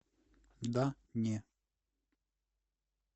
да не